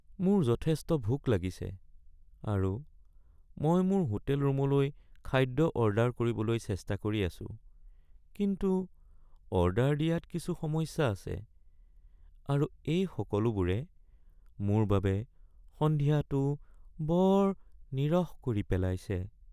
মোৰ যথেষ্ট ভোক লাগিছে আৰু মই মোৰ হোটেল ৰুমলৈ খাদ্য অৰ্ডাৰ কৰিবলৈ চেষ্টা কৰি আছোঁ কিন্তু অৰ্ডাৰ দিয়াত কিছু সমস্যা আছে আৰু এই সকলোবোৰে মোৰ বাবে সন্ধিয়াটো বৰ নিৰস কৰি পেলাইছে।